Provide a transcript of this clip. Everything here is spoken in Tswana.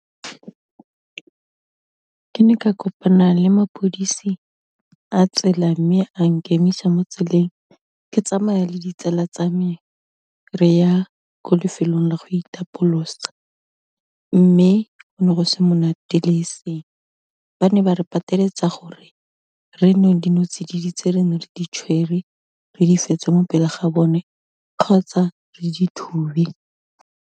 Ke ne ka kopana le lepodisi la tsela, mme a nkemisa mo tseleng ke tsamaya le ditsela tsa me re ya ko lefelong la go itapolosa, mme go ne go se monate le eseng ba ne ba re pateletse gore re nwe dinotsididi tse re neng re di tshwere, re di fetse mo pele ga bone, kgotsa re di thube.